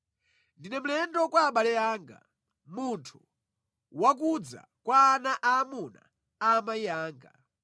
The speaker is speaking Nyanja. Ndine mlendo kwa abale anga, munthu wakudza kwa ana aamuna a amayi anga;